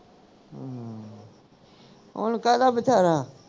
ਹਮ ਓਹਨੂੰ ਕਹਿ ਤਾ ਬਥੇਰਾ